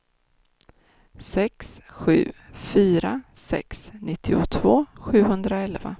sex sju fyra sex nittiotvå sjuhundraelva